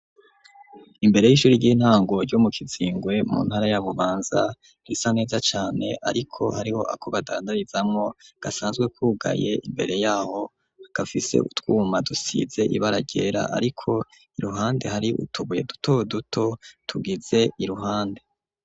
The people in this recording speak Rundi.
Imbere y'ishure ry'intango ryo mu Kizingwe, mu ntara ya Bubanza risa neza cane ariko hariho ako badandarizamwo gasanzwe kugaye, imbere y'aho gafise utwuma dusize ibara ryera, ariko iruhande hari utubuye duto duto tugize iruhande.